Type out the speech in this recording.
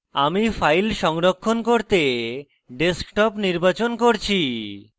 আমি file সংরক্ষণ করতে desktop নির্বাচন করছি